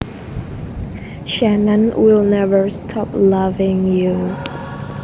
Shannon will never stop loving you